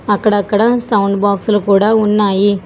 అక్కడక్కడా సౌండ్ బాక్సులు కూడ ఉన్నాయి.